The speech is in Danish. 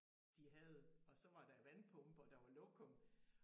De havde og så var der vandpumper der var lokum